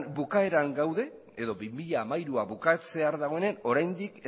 bukaeran gaude edo bi mila hamairua bukatzear dagoenen oraindik